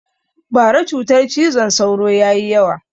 Bara cutar cizon sauro ya yi yawa